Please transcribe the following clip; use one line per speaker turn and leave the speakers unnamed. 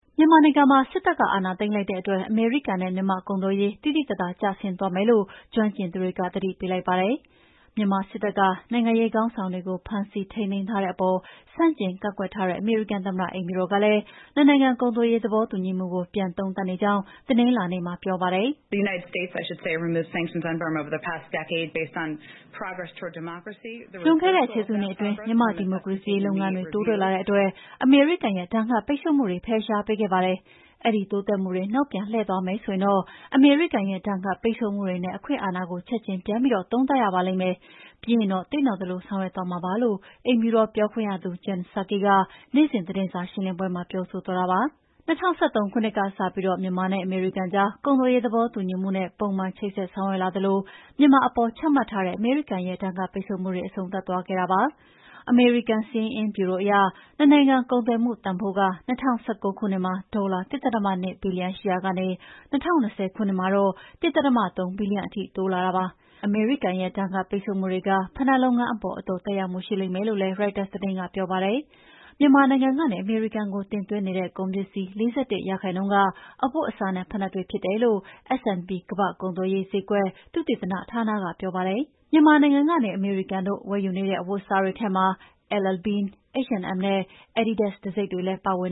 မြန်မာနိုင်ငံမှာ စစ်တပ်က အာဏာသိမ်းလိုက်တဲ့အတွက် အမေရိကန်နဲ့မြန်မာ့ ကုန်သွယ်ရေး သိသိသာသာကျဆင်းသွားမယ်လို့ ကျွမ်းကျင်သူတွေက သတိပေးလိုက်ပါတယ်။ မြန်မာစစ်တပ်က နိုင်ငံရေးခေါင်းဆောင်တွေကို ဖမ်းဆီးထိန်းသိမ်းထားတဲ့အပေါ် ဆန့်ကျင်ကန့်ကွက်ထားတဲ့ အမေရိကန်သမ္မတအိမ်ဖြူတော်ကလည်း နှစ်နိုင်ငံကုန်သွ
ယ်ရေးသဘောတူညီမှုကို ပြန်သုံးသပ်နေကြောင်း တနင်္လာနေ့ကပြောပါတယ်။ "လွန်ခ
ဲ့တဲ့ ၁၀ စုနှစ်အတွင်း မြန်မာ့ဒီမိုကရေစီရေးလုပ်ငန်းတွေ တိုးတက်လာတဲ့အတွက်အမေရိကန်ရဲ့ ဒဏ်ခတ်ပိတ်ဆို့မှုတွေ ဖယ်ရှားပေးခဲ့ပါတယ်။ အဲဒီ တိုးတက်မှုတွေ နောက်ပြန်လှည့်သွားမယ်ဆိုရင်တော့ အမေရိကန်ရဲ့ ဒဏ်ခတ်ပိတ်ဆို့မှုတွေနဲ့ အခွင့်အာဏာကို ချက်ချင်းပြန်သုံးသပ်ရပါလိမ့်မယ်။ ပြီးရင်တော့ သင့်တော်သလိုဆောင်ရွက်မှာဖြစ်ပါတယ်” လို့ အိမ်ဖြူတော်ပြောခွင့်ရသူ Jen Psaki က နေ့စဉ်သတင်းစာရှင်းလင်းပွဲမှာ ပြောဆိုသွားတာပါ။ ၂၀၁၃ ခုနှစ်ကတည်းစပြီး မြန်မာနဲ့အမေရိကန်ကြား ကုန်သွယ်ရေးသဘောတူညီမှုနဲ့ ပုံမှန်ချိတ်ဆက်ဆောင်ရွက်လာသလို မြန်မာအပေါ် ချမှတ်ထားတဲ့ အမေရိကန်ရဲ့ ဒဏ်ခတ်ပိတ်ဆို့မှုတွေ အဆုံးသတ်သွားခဲ့တာဖြစ်ပါတယ်။ အမေရိကန်စာရင်းအင်းဗျူရိုအရ နှစ်နိုင်ငံကုန်သွယ်မှုတန်ဖိုးက ၂၀၁၉ ခုနှစ်မှာ ဒေါ်လာ ၁.၂ ဘီလီယံရှိရာကနေ ၂၀၂၀ ခုနှစ်မှာတော့ ၁.၃ ဘီလီယံထိ တိုးလာတာပါ။ အမေရိကန်ရဲ့ ဒဏ်ခတ်ပိတ်ဆို့မှုတွေက ဖိနပ်လုပ်ငန်းအပေါ်အတော်သက်ရောက်မှု ရှိလိမ့်မယ်လို့ ရိုက်တာသတင်းကပြောပါတယ်။ မြန်မာနိုင်ငံကနေ အမေရိကန်ကို တင်သွင်းနေတဲ့ ကုန်ပစ္စည်း ၄၁% က အဝတ်အစားနဲ့ ဖိနပ်တွေဖြစ်တယ်လို့ S&P ကမ္ဘာ့ကုန်သွယ်ရေးဈေးကွက် သုတေသနဌာနကပြောပါတယ်။ မြန်မာနိုင်ငံကနေ အမေရိကန်တို့ ဝယ်ယူနေတဲ့အဝတ်အစားတွေထဲမှာ LL Bean, H&M နဲ့ Adidas တံဆိပ်တွေလည်း ပါဝင်